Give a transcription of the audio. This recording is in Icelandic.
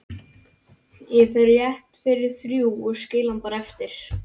Ég fer rétt fyrir þrjú og skil hann bara eftir